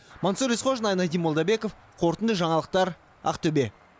мансұр есқожин айнадин молдабеков қорытынды жаңалықтар ақтөбе